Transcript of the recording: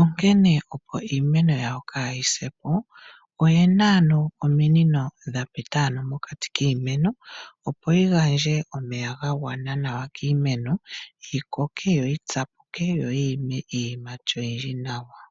Onkene opo iimeno yawo kayi se po, oyena ominino dhapita mokati kiimeno opo yigandje omeya gagwana nawa kiimeno, yikoke, yoyi tsapuke, yo yi ime iiyimati yagwana nawa.